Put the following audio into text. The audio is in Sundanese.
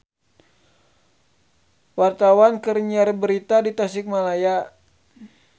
Wartawan keur nyiar berita di Tasikmalaya